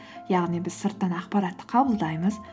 яғни біз сырттан ақпаратты қабылдаймыз